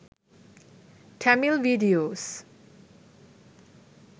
tamil videos